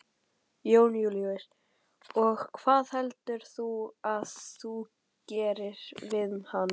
Jón Júlíus: Og hvað heldurðu að þú gerir við hann?